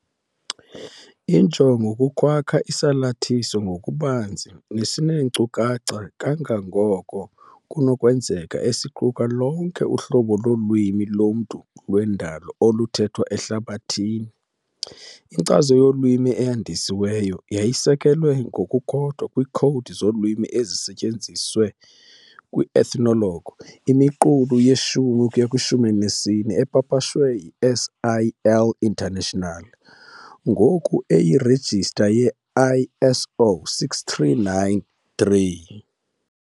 Injongo kukwakha isalathiso ngokubanzi nesineenkcukacha kangangoko kunokwenzeka esiquka lonke uhlobo lolwimi lomntu lwendalo oluthethwa ehlabathini. Inkcazo yolwimi eyandisiweyo yayisekelwe ngokukodwa kwiikhowudi zolwimi ezisetyenziswe kwi- Ethnologue imiqulu ye-10-14 epapashwe yi-SIL International, ngoku eyirejista ye-ISO 639-3 .